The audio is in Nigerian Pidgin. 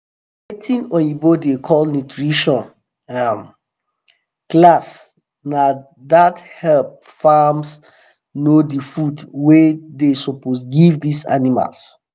watin oyibo da call nutrition um class na da help farms know the food wa da um suppose give this animals